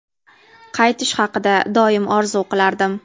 Qaytish haqida doim orzu qilardim.